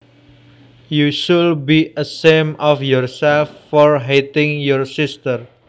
You should be ashamed of yourself for hitting your sister